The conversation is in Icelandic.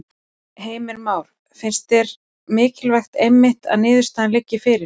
Heimir Már: Finnst þér mikilvægt einmitt að niðurstaðan liggi fyrir?